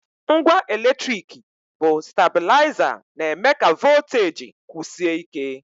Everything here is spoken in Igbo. Ngwa eletrik bụ stablaịza na-eme ka voteji kwụsie ike.